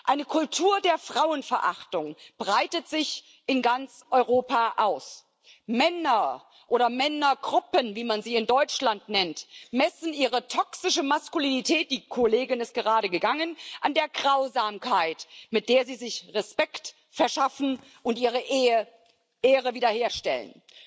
Eine Kultur der Frauenverachtung breitet sich in ganz Europa aus. Männer oder Männergruppen, wie man sie in Deutschland nennt, messen ihre toxische Maskulinität die Kollegin ist gerade gegangen an der Grausamkeit, mit der sie sich Respekt verschaffen und ihre Ehre wiederherstellen.